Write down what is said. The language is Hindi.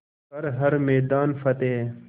कर हर मैदान फ़तेह